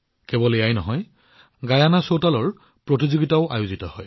কেৱল এয়াই নহয় গিয়েনাতো চৌতাল প্ৰতিযোগিতা অনুষ্ঠিত হয়